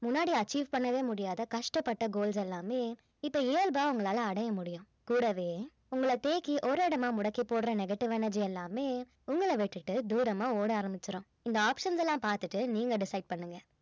முன்னாடி achieve பண்ணவே முடியாத கஷ்டப்பட்ட goals எல்லாமே இப்ப இயல்பா உங்களால அடைய முடியும் கூடவே உங்கள தேக்கி ஒரு இடமா முடக்கிப் போடுற negative energy எல்லாமே உங்கள விட்டுட்டு தூரமா ஓட ஆரம்பிச்சிடும் இந்த options எல்லாம் பார்த்துட்டு நீங்க decide பண்ணுங்க